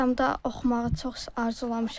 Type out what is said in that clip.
Ağdamda oxumağı çox arzulamışam.